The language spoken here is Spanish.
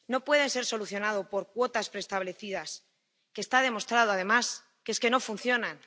No pueden ser solucionados por cuotas preestablecidas, que está demostrado, además, que es que no funcionan.